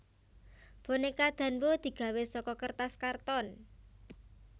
Bonéka Danbo digawé saka kertas karton